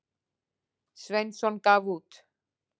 Sveinsson gaf út.